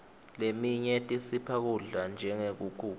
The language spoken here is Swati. letinye tisipha kudla njengenkhukhu